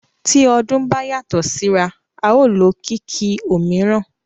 Ti ọdún bá yàtọ síra, a o lo kìkì òmíràn.